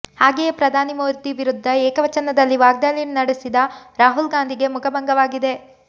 ಹಾಗೆಯೇ ಪ್ರಧಾನಿ ಮೋದಿ ವಿರುದ್ದ ಏಕವಚನದಲ್ಲಿ ವಾಗ್ದಾಳಿ ನಡೆಸಿದ ರಾಹುಲ್ ಗಾಂಧಿಗೆ ಮುಖಭಂಗವಾಗಿದೆ